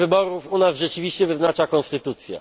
Termin wyborów u nas rzeczywiście wyznacza konstytucja.